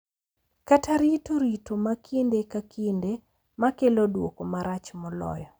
Kata rito rito ma kinde ka kinde, ma kelo duoko marach moloyo.